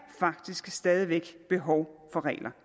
faktisk stadig væk behov for regler